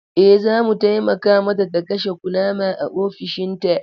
Eh, za mu taimaka mata ta kashe kunama a ofishinta.